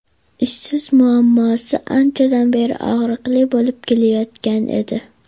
Ishsizlik muammosi anchadan beri og‘riqli bo‘lib kelayotgan edi.